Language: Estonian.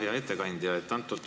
Hea ettekandja!